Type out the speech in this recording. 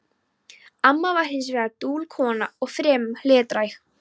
Amma var hins vegar dul kona og fremur hlédræg.